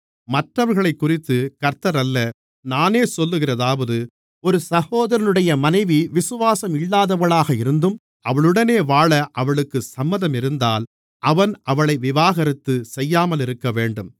மற்றவர்களைக்குறித்து கர்த்தர் அல்ல நானே சொல்லுகிறதாவது ஒரு சகோதரனுடைய மனைவி விசுவாசம் இல்லாதவளாக இருந்தும் அவனுடனே வாழ அவளுக்குச் சம்மதமிருந்தால் அவன் அவளை விவாகரத்து செய்யாமலிருக்கவேண்டும்